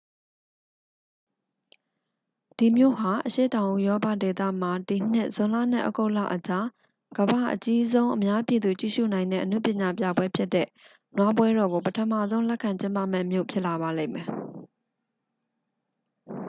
ဒီမြို့ဟာ အရှေ့တောင် ဥရောပဒေသမှာ ဒီနှစ် ဇွန်လနဲ့ ဩဂုတ်လအကြား ကမ္ဘာ့အကြီးဆုံး အများပြည်သူ ကြည့်ရှုနိုင်တဲ့ အနုပညာပြပွဲဖြစ်တဲ့ နွားပွဲတော်ကို ပထမဆုံး လက်ခံကျင်းပမယ့် မြို့ဖြစ်လာပါလိမ့်မယ်